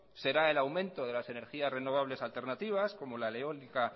será el aumento de las energías renovables alternativas como la eólica